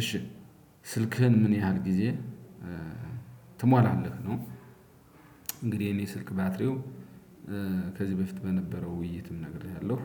እሺ ስልክህን ምን ያህል ጊዜ ትሟላለህ? ነው። እንግዲህ የኔ ስልክ ባትሪው ከዚህ በፊት በነበረው ውይይትም ነግሬሃለሁ።